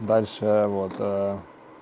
дальше вот